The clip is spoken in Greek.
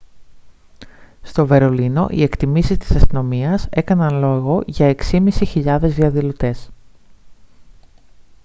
στο βερολίνο οι εκτιμήσεις της αστυνομίας έκαναν λόγο για 6.500 διαδηλωτές